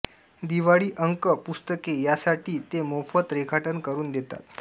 दिवाळी अंक पुस्तके यासाठी ते मोफत रेखाटन करून देतात